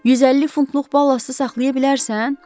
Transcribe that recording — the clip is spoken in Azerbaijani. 150 funtluq ballastı saxlaya bilərsən?